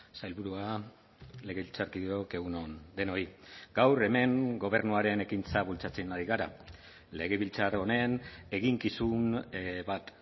sailburua legebiltzarkideok egun on denoi gaur hemen gobernuaren ekintza bultzatzen ari gara legebiltzar honen eginkizun bat